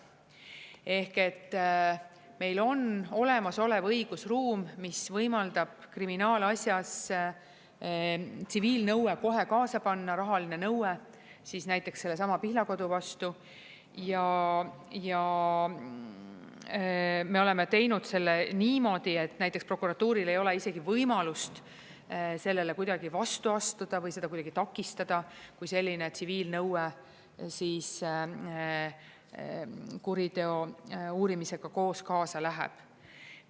Ehk et meil on olemasolev õigusruum, mis võimaldab kriminaalasjas tsiviilnõue kohe kaasa panna, rahaline nõue, näiteks sellesama Pihlakodu vastu, ja me oleme teinud selle niimoodi, et näiteks prokuratuuril ei ole isegi võimalust sellele kuidagi vastu astuda või seda kuidagi takistada, kui selline tsiviilnõue siis kuriteo uurimisega koos kaasa läheb.